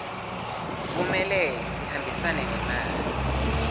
kumele sihambisane nemali